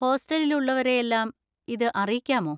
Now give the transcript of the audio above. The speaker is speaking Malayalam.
ഹോസ്റ്റലിൽ ഉള്ളവരെയെല്ലാം ഇത് അറിയിക്കാമോ?